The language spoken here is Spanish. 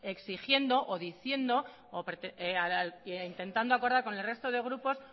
exigiendo o diciendo e intentando acordar con el resto de grupos